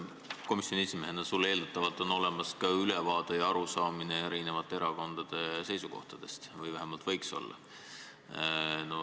Komisjoni esimehena on sul eeldatavalt olemas ka ülevaade ja arusaam eri erakondade seisukohtadest või vähemalt võiks olla.